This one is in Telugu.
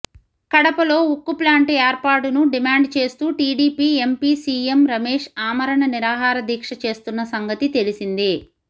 కడపలో ఉక్కు ప్లాంటు ఏర్పాటును డిమాండ్ చేస్తూ టీడీపీ ఎంపీ సీఎం రమేష్ ఆమరణ నిరాహారదీక్ష చేస్తున్న సంగతి తెలిసిందే